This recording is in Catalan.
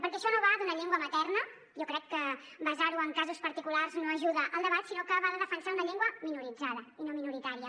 perquè això no va d’una llengua materna jo crec que basar ho en casos particulars no ajuda al debat sinó que va de defensar una llengua minoritzada i no minoritària